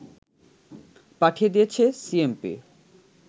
পাঠিয়ে দিয়েছে সিএমপি